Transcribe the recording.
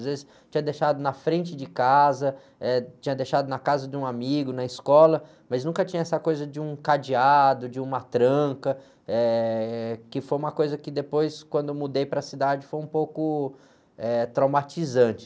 Às vezes tinha deixado na frente de casa, eh, tinha deixado na casa de um amigo, na escola, mas nunca tinha essa coisa de um cadeado, de uma tranca, eh, que foi uma coisa que depois, quando eu mudei para a cidade, foi um pouco, eh, traumatizante.